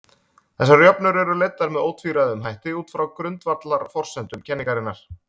Þessar jöfnur eru leiddar með ótvíræðum hætti út frá grundvallarforsendum kenningarinnar.